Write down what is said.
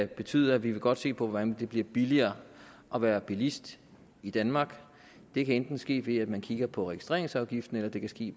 betyder at vi godt vil se på hvordan det bliver billigere at være bilist i danmark det kan enten ske ved at man kigger på registreringsafgiften eller det kan ske